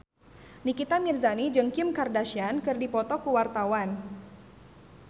Nikita Mirzani jeung Kim Kardashian keur dipoto ku wartawan